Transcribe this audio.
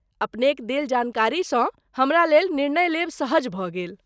अपनेक देल जानकारीसँ हमरा लेल निर्णय लेब सहज भऽ गेल।